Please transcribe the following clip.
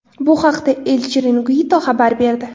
Bu haqda El Chiringuito xabar berdi .